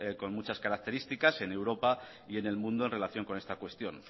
con muchas características en europa y en el mundo en relación con esta cuestión